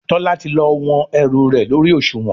Tola ti lọ wón ẹrù rẹ lórí Òṣùwọ̀n.